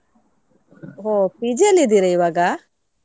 ಹೋ PG ಅಲ್ಲಿ ಇದ್ದೀರಾ ಇವಾಗ?